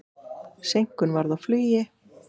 Seinkun varð á flugi.